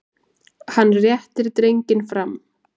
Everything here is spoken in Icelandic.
Hann réttir drenginn fram.